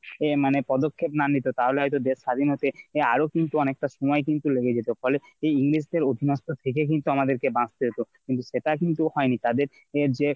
এ মানে পদক্ষেপ না নিতো তাহলে হয়তো দেশ স্বাধীন হতে আরো কিন্তু অনেকটা সময় কিন্তু লেগে যেত ফলে এই English দের উপন্যাস্তক থেকে কিন্তু আমাদের কে বাঁচতে হতো। কিন্তু সেটা কিন্তু হয়নি তাদের যে